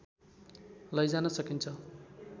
लैजान सकिन्छ